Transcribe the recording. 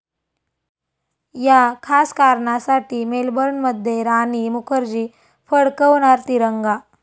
या' खास कारणासाठी मेलबर्नमध्ये राणी मुखर्जी फडकवणार तिरंगा